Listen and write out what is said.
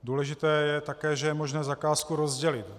Důležité také je, že je možné zakázku rozdělit.